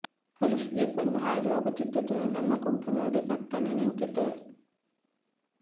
police ಜೀಪೊಂದು ಹಾಯ್ದು ಹೋಗುತ್ತಿದ್ದದ್ದು ನಮ್ಮ ಗುಂಪು ನೋಡಿ ಗಕ್ಕನೆ ನಿಂತಿತು